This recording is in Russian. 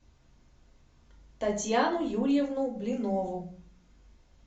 татьяну юрьевну блинову